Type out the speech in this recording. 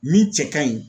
Min cɛ ka ɲi